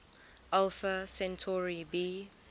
alpha centauri b